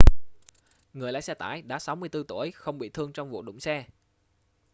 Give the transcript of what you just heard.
người lái xe tải đã 64 tuổi không bị thương trong vụ đụng xe